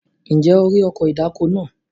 Ǹjẹ́ o rí ọkọ̀ ìdáko náà?